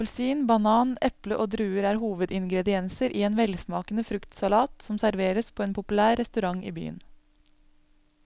Appelsin, banan, eple og druer er hovedingredienser i en velsmakende fruktsalat som serveres på en populær restaurant i byen.